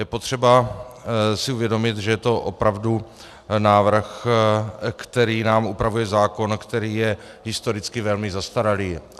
Je potřeba si uvědomit, že je to opravdu návrh, který nám upravuje zákon, který je historicky velmi zastaralý.